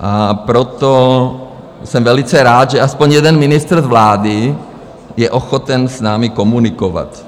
A proto jsem velice rád, že aspoň jeden ministr z vlády je ochoten s námi komunikovat.